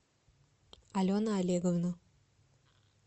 алена олеговна